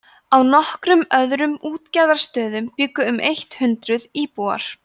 á nokkrum öðrum útgerðarstöðum bjuggu um eitt hundruð íbúar